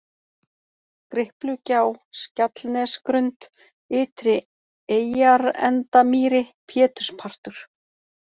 Griplugjá, Skjallnesgrund, Ytri-Eyjarendamýri, Péturspartur